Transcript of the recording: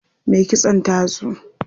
Me kitson ta zo.